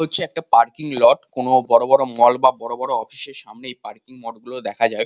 হচ্ছে parking lot কোনো বড়ো বড়ো মল বা বড়ো বড়ো অফিসের সামনে এই পার্কিং মঠ গুলো দেখা যায়।